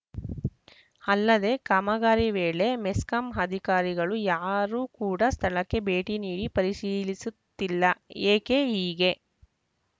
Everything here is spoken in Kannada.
ಅಲ್ಲದೆ ಕಾಮಗಾರಿ ವೇಳೆ ಮೆಸ್ಕಾಂ ಅಧಿಕಾರಿಗಳು ಯಾರು ಕೂಡ ಸ್ಥಳಕ್ಕೆ ಭೇಟಿ ನೀಡಿ ಪರಿಶೀಲಿಸುತ್ತಿಲ್ಲ ಏಕೆ ಹೀಗೆ